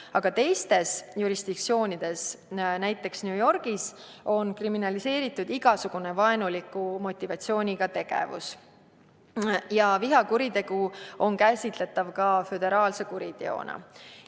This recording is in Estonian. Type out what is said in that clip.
Aga teistes jurisdiktsioonides, näiteks New Yorgis, on kriminaliseeritud igasugune vaenuliku motivatsiooniga tegevus ja vihakuritegu on käsitletav föderaalse kuriteona.